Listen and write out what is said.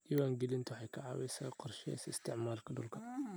Diiwaangelintu waxay ka caawisaa qorshaynta isticmaalka dhulka.